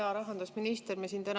Hea rahandusminister!